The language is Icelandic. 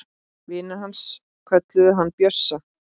Vinir hans kölluðu hann Bjössa.